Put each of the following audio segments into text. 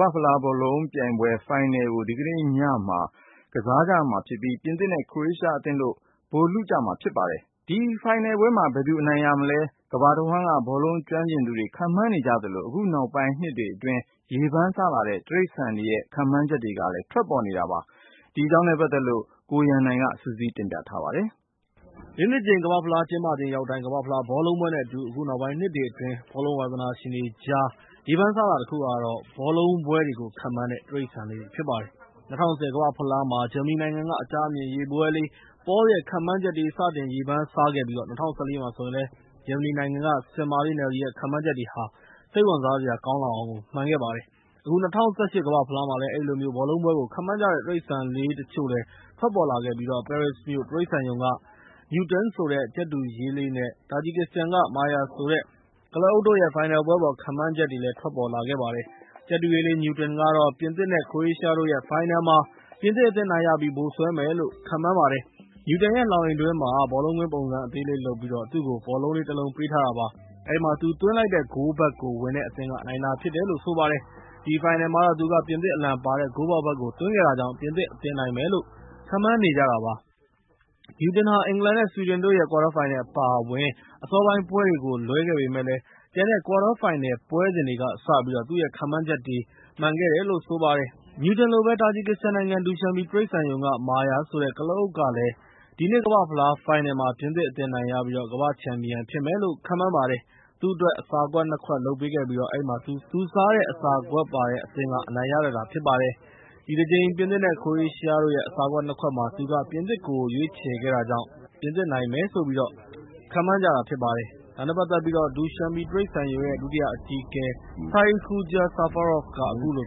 ဘာ့ဖလားဘောလုံးပွဲ ဖိုင်နယ်ကိုတော့ ဇူလိုင် ၁၅ ရက် တနင်္ဂနွေနေ့မှာ ကစားမှာဖြစ်ပြီး ပြင်သစ်နဲ့ ခရိုအေရှားအသင်းတို့ ဗိုလ်လုကြမှာဖြစ်ပါတယ်။ မော်စကိုမြို့မှာ ကစားမယ့် ဒီဖိုင်နယ်ပွဲအပေါ် ကမ္ဘာတဝှမ်းက ဘောလုံးကျွမ်းကျင်သူတွေ ခန့်မှန်းနေကြသလို အခုနောက်ပိုင်းနှစ်တွေအတွင်း ကမ္ဘာ့ဖလားဘောလုံးပွဲနဲ့အတူ ရေပန်းစားထွက်ပေါ်လာနေတဲ့ တိရစ္ဆာန်တွေရဲ့ ခန့်မှန့်ချက်တွေရဲ့ ထွက်လာနေပါတယ်။ ဒီတကြိမ် ဖိုင်နယ်ပွဲ အပေါ် တိရစ္ဆာန်လေးတွေက ဘယ်လိုများ ခန့်မှန်းထားသလဲဆိုတာကို ကိုရန်နိုင်က စုစည်းတင်ဆက်ပေးထား ပါတယ်။ ၄ နှစ်တကြိမ်ကမ္ဘာ့ဖလားကျင်းပချိန်ရောက်တိုင်း ကမ္ဘာ့ဖလားဘောလုံးပွဲနဲ့ အတူ အခုနောက်ပိုင်းနှစ်တွေ အတွင်း ဘောလုံးဝါသနာရှင်တွေ ကြားမှာ စိတ်ဝင်တစားရေပန်းစားလာတာတခုကတော့ ဘောလုံးပွဲတွေကို ခန့်မှန်းတဲ့ တိရစ္ဆာန်လေးတွေဖြစ်ပါတယ်။ ၂၀၁၀ ကမ္ဘာ့ဖလား ဂျာမနီနိုင်ငံက အကြားအမြင် ရေဘဝဲလေး Paul ရဲ့ ခန့်မှန်းချက်တွေက စတင်ရေပန်းစားခဲ့ပြီး ၂၀၁၄ မှာဆိုရင်လည်း ဂျာမနီက ဆင်မလေးနယ်လီရဲ့ ခန့်မှန်းချက်တွေဟာလည်း စိတ်ဝင်စားစရာကောင်းလောက်အောင်ကိုမှန်ခဲ့ပါတယ်။ အခု ၂၀၁၈ ကမ္ဘာ့ဖလား မှာလည်း အဲဒီလိုမျိုး ဘောလုံးပွဲတွေကို ခန့်မှန်းကြတဲ့ တိရစ္ဆာန်လေးတချို့လည်း ထွက်ပေါ်လာခဲ့ပြီး Paris မြို့တိရစ္ဆာန်ရုံက Newton ဆိုတဲ့ ကြက်တူရွေးလေး နဲ့ တာဂျီကစ္စတန်က Marya ဆိုတဲ့ ကုလားအုတ်တို့ရဲ့ ဖိုင်နယ်ပွဲအပေါ် ခန့်မှန်းခဲ့ကြပါတယ်။ ကြက်တူရွေးလေး Newton ကတော့ ပြင်သစ် နဲ့ ခရိုအေးရှားတို့ရဲ့ ဖိုင်နယ်မှာ ပြင်သစ်အသင်း အနိုင်ရပြီး ဗိုလ်စွဲမယ်လို့ ခန့်မှန်းပါတယ်။ Newton ရဲ့ လှောင်အိမ်အတွင်း ဘောလုံးကွင်းပုံစံအသေးလေးလုပ်ပြီး သူ့ကို ဘောလုံးလေးတလုံးပေးထားတာပါ။ အဲဒီမှာ သူသွင်းလိုက်တဲ့ဂိုးဘက်ကို ဝင်တဲ့အသင်းက နိုင်တာဖြစ်တယ်လို့ ဆိုပါတယ်။ ဒီဖိုင်နယ်ပွဲမှာတော့ သူက ပြင်သစ်အလံပါတဲ့ ဂိုးပေါက်ဖက်ကို သွင်းခဲ့တာကြောင့် ပြင်သစ်အသင်း နိုင်မယ်လို့ ခန့်မှန်းနေကြတာဖြစ်ပါတယ်။ Newton ဟာ အင်္ဂလန် နဲ့ ဆွီဒင်တို့ရဲ့ ကွာတားဖိုင်နယ်အပါအဝင် အစောပိုင်းပွဲတွေကို လွဲခဲ့ပေမယ့် ကျန်ကွာတားဖိုင်နယ်ပွဲတွေကစပြီး သူ့ရဲ့ခန့်မှန်းချက်တွေ မှန်ခဲ့တယ်လို့ ဆိုပါတယ်။ Newton လိုပဲ တာဂျီကစ္စတန်နိုင်ငံ ဒူရှန်ဘီတိရစ္ဆာန်ရုံက Marya ဆိုတဲ့ ကုလားအုတ်ကလည်း ဒီနှစ်ကမ္ဘာ့ဖလား ဖိုင်နယ်မှာ ပြင်သစ်အသင်းအနိုင်ရပြီး ကမ္ဘာ့ချန်ပီယံဖြစ်မယ်လို့ ခန့်မှန်းလိုက်ပါတယ်။ သူအတွက် အစားခွက် ၂ ခုလုပ်ပေးခဲ့ပြီး အဲဒီမှာ သူစားတဲ့ မုန်လာဥနီ နဲ့ တခြားအရွက်ကျွေးတာဖြစ်ပြီး သူ့စားတဲ့အစာခွက်ရဲ့ အသင်းက အနိုင်ရတတ်တာဖြစ်ပါတယ်။ ဒီတကြိမ် ပြင်သစ် နဲ့ ခရိုအေးရှား အစာခွက် ၂ ခွက်မှာ သူက ပြင်သစ်ကို ရွေးချယ်ခဲ့တာကြောင့် ပြင်သစ်နိုင်မယ်လို့ ခန့်မှန်းကြတာဖြစ်ပါတယ်။ ဒါနဲ့ ပတ်သက်ပြီး Dushanbe တိရစ္ဆာန်ရုံရဲ့ ဒုတိယအကြီးအကဲ Saidkhuja Safarov က အခုလို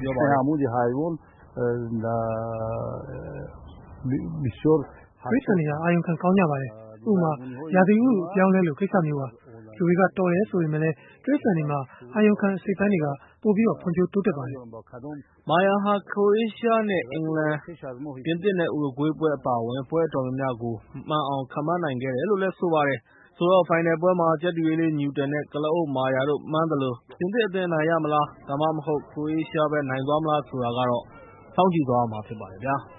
ပြောပါတယ်။ “တိရစ္ဆာန်တွေဟာ အာရုံခံကောင်းကြတယ်။ ဥပမာ ရာသီဥတုအပြောင်းအလဲလိုမျိုးပေါ့။ လူတွေက တော်တယ် ဆိုပေမယ့်လည်း တိရစ္ဆာန်တွေမှာ အာရုံခံအစိတ်အပိုင်းတွေက ဖွံ့ဖြိုးတိုးတက်ပါတယ်။” Marya ဟာ ခရိုအေးရှား နဲ့ အင်္ဂလန်၊ ပြင်သစ် နဲ့ ဥရုဂွေးအပါအဝင် ပွဲအတော်များများကို မှန်အောင်ခန့်မှန်းနိုင်ခဲ့ တာပါ။ ဆိုတော့ ဖိုင်နယ်ပွဲမှာ ကြက်တူရွေးလေး Newton နဲ့ ကုလားအုတ် Marya တို့ မှန်းသလို ပြင်သစ်အသင်း အနိုင်ရမလား၊ ဒါမှမဟုတ် ခရိုအေးရှားပဲ နိုင်သွားမလားဆိုတာကတော့ စောင့်ကြည့်သွားရမှာ ဖြစ်ပါတယ်ခင်ဗျာ။